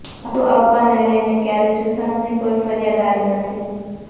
ભાડું આપવાને લઈને ક્યારેય સુશાંતની કોઈ ફરિયાદ આવી નથી